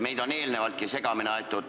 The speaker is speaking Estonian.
Meid on eelnevaltki segamini aetud.